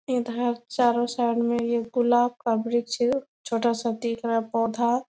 इधर चारो साइड में ये गुलाब का वृक्ष है छोटा-सा दिख रहा पौधा --